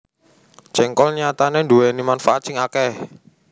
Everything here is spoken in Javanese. Jéngkol nyatané nduwèni manfaat sing akèh